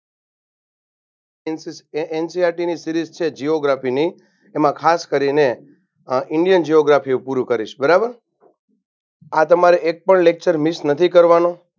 NCRT ની series છે gioraphy ની એમાં ખાસકરીને indian gioraphy એ પૂરું કરીશ બરાબ આ તમારે એક પણ lecture miss નથી કરવાનો.